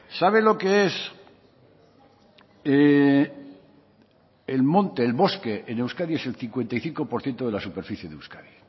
sabe lo que es el monte el bosque en euskadi es el cincuenta y cinco por ciento de la superficie de euskadi